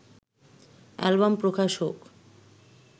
album প্রকাশ হোক